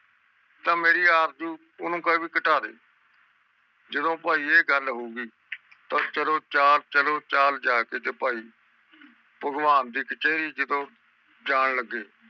ਤਾ ਵੀ ਮੇਰੀ ਆਰਜੂ ਓਹਨੂੰ ਕਹਿ ਵੀ ਘਟਾ ਦੇ ਜਦੋ ਭਾਈ ਇਹ ਗੱਲ ਹੋਗੀ ਚਲੋ ਚਾਲ ਚਲੋ ਚਾਲ ਜਾ ਕੇ ਭਗਵਾਨ ਦੇ ਖਚਰੀ ਜਦੋ ਜਾਨ ਲਗੇ